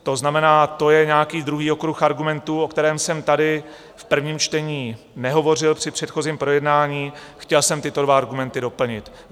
To znamená, to je nějaký druhý okruh argumentů, o kterém jsem tady v prvním čtení nehovořil při předchozím projednání - chtěl jsem tyto dva argumenty doplnit.